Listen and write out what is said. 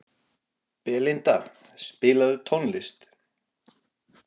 Belinda, spilaðu tónlist.